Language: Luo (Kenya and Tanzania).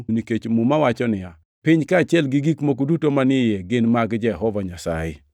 nikech Muma wacho niya, “Piny kaachiel gi gik moko duto manie iye, gin mag Jehova Nyasaye.” + 10:26 \+xt Zab 24:1\+xt*